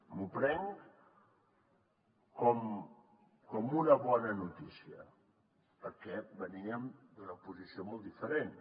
m’ho prenc com una bona notícia perquè veníem d’una posició molt diferent